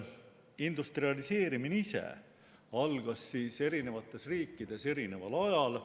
Industrialiseerimine ise algas eri riikides erineval ajal.